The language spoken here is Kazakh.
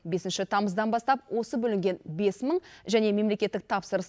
бесінші тамыздан бастап осы бөлінген бес мың және мемлекеттік тапсырыс